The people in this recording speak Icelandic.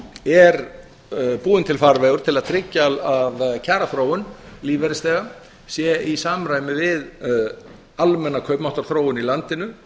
er búinn til farvegur til að tryggja að kjaraþróun lífeyrisþega sé í samræmi við almenna kaupmáttarþróun í landinu